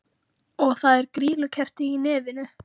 Og það er grýlukerti í nefinu!